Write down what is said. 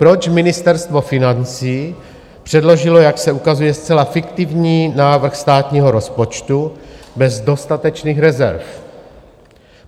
Proč Ministerstvo financí předložilo, jak se ukazuje, zcela fiktivní návrh státního rozpočtu bez dostatečných rezerv?